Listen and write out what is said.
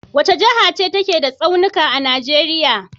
Wace jaha ce take da tsaunika a Nijeriya?